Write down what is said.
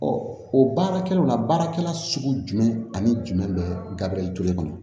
o baarakɛlaw la baarakɛla sugu jumɛn ani jumɛn bɛ gabriel jolen kɔnɔ